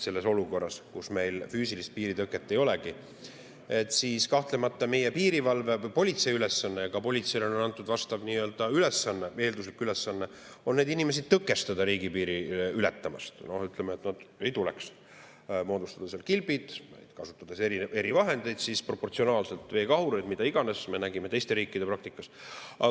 Selles olukorras, kus meil füüsilist piiritõket ei olegi, on kahtlemata meie piirivalve ja politsei ülesanne – ka politseile on antud eelduslik ülesanne neid inimesi tõkestada, et nad riigipiiri ei ületaks, sealt üle ei tuleks – moodustada kilbid, kasutades erivahendeid, näiteks veekahureid või mida iganes, nagu me oleme näinud teiste riikide praktikast.